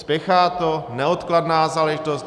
Spěchá to, neodkladná záležitost.